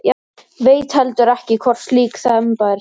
Veit heldur ekki hvort slík þemba er til.